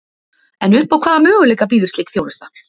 En upp á hvaða möguleika býður slík þjónusta?